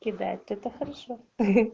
кидает это хорошо